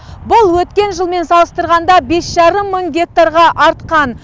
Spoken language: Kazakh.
бұл өткен жылмен салыстырғанда бес жарым мың гектарға артқан